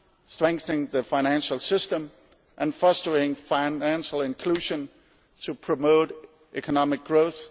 strengthening the financial system and fostering financial inclusion to promote economic growth